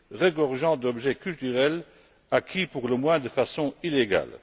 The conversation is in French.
regorgeant d'objets culturels acquis, pour le moins, de façon illégale.